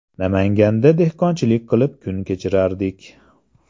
Namanganda dehqonchilik qilib kun kechirardik.